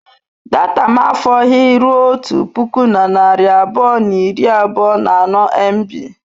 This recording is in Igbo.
Data m afọghị ruo otu puku na narị abụọ na iri abụọ na anọ mb.